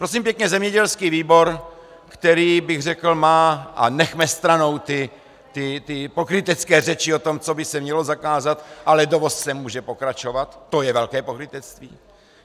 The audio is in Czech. Prosím pěkně, zemědělský výbor, který, bych řekl, má - a nechme stranou ty pokrytecké řeči o tom, co by se mělo zakázat, ale dovoz sem může pokračovat, to je velké pokrytectví.